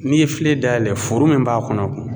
N'i ye filen dayɛlɛ furu min b'a kɔnɔ